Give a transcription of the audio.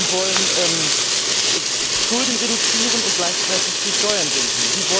Sie wollen Schulden reduzieren und gleichzeitig die Steuern senken.